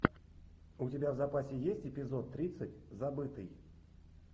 у тебя в запасе есть эпизод тридцать забытый